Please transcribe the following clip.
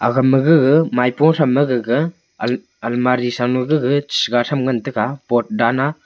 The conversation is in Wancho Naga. agey ma gege maipung tam ma gege almari sa lung cheche tam ngan tega pot dan.